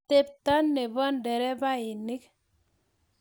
atepto nebo nderefainik